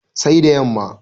sai da yamma